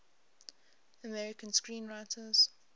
american screenwriters